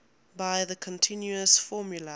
by the continuous formula